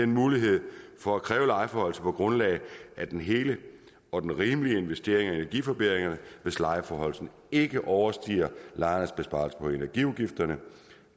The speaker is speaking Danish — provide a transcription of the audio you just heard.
mulighed for at kræve lejeforhøjelser på grundlag af den hele og rimelige investering i energiforbedringer hvis lejeforhøjelsen ikke overstiger lejernes besparelser på energiudgifterne